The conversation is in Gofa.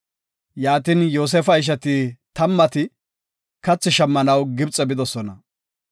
Yaatin, Yoosefa ishati tammati kathi shammanaw Gibxe bidosona.